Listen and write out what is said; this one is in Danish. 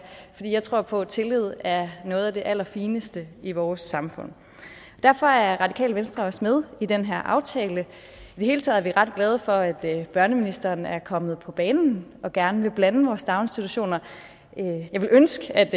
for jeg tror på at tillid er noget af det allerfineste i vores samfund derfor er radikale venstre også med i den her aftale i det hele taget er vi ret glade for at børneministeren er kommet på banen og gerne vil blande vores daginstitutioner jeg ville ønske at